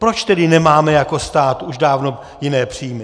Proč tedy nemáme jako stát už dávno jiné příjmy?